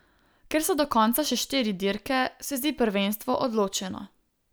Ker so do konca še štiri dirke, se zdi prvenstvo odločeno.